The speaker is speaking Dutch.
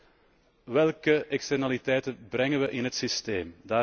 Ten eerste, welke externaliteiten brengen we in het systeem?